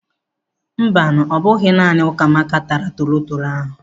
Mbanu, ọ bụghị naanị Ukamaka taara torotoro ahụ.